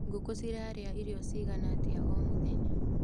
Ngũkũ cirarĩa irio cigana atĩa o mũthenya.